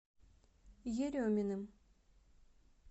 ереминым